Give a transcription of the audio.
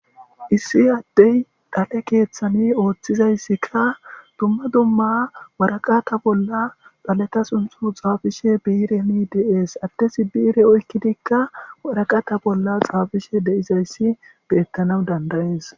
Issi addey dhale keeththani ooththizayssikka dumma dumma waraqata bolla dhaleta sunthu xaafishe biireni de7ees. Addezi biire oykkidikka waraqata bolla xaafishe de7izayssi beettanaw danda7ees.